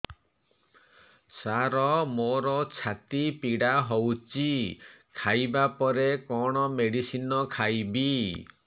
ସାର ମୋର ଛାତି ପୀଡା ହଉଚି ଖାଇବା ପରେ କଣ ମେଡିସିନ ଖାଇବି